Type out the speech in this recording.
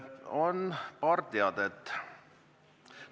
On paar teadet.